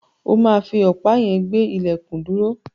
O máa fi ọ̀pá yẹn gbé ilẹ̀kùn dúró.